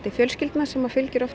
fjölskyldna sem